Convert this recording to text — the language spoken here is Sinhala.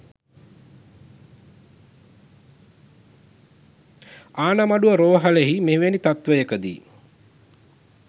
ආණමඩුව රෝහලෙහි මෙවැනි තත්ත්වයකදී